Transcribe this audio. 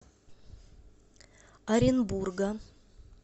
оренбурга